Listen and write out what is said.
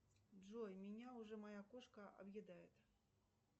джой меня уже моя кошка объедает